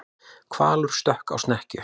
Hvalur stökk á snekkju